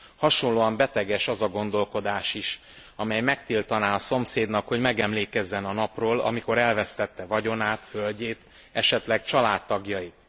Hasonlóan beteges az a gondolkodás is, amely megtiltaná a szomszédnak, hogy megemlékezzen a napról, amikor elvesztette vagyonát, földjét, esetleg családtagjait.